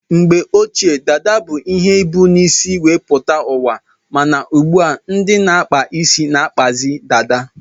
Mgbe ochie dada bu ihe ebu n' isi wee pụta uwa, mana ugbua ndị na-akpa isi na-akpazi dada.